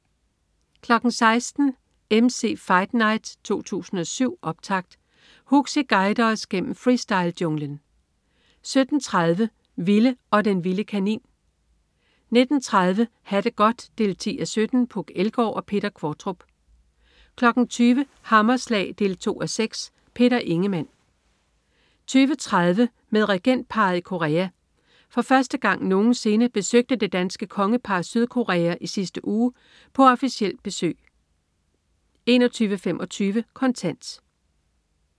16.00 MC's Fight Night 2007, optakt. Huxi guider os gennem freestylejunglen 17.30 Ville og den vilde kanin 19.30 Ha' det godt 10:17. Puk Elgård og Peter Qvortrup 20.00 Hammerslag 2:6. Peter Ingemann 20.30 Med regentparret i Korea. For første gang nogensinde besøgte det danske kongepar Sydkorea i sidste uge på officielt besøg 21.25 Kontant